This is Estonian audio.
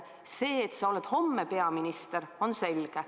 See, et sa oled homme peaminister, on selge.